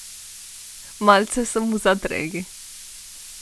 Malce sem v zadregi.